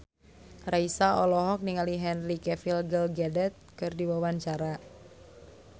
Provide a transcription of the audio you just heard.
Raisa olohok ningali Henry Cavill Gal Gadot keur diwawancara